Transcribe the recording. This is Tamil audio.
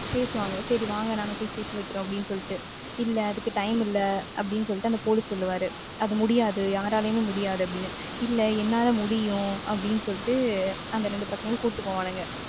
பேசுவாங்க. சரி வாங்க நாங்க போய் சேர்த்து வைக்கிறோம் அப்படின்னு சொல்லிட்டு. இல்லை அதுக்கு time இல்ல அப்படின்னு சொல்லிட்டு அந்த police சொல்லுவாரு. அது முடியாது யாராலையுமே முடியாது அப்படின்னு. இல்ல என்னால முடியும் அப்படின்னு சொல்லிட்டு அந்த இரண்டு பசங்களும் கூட்டிட்டு போவானுங்க.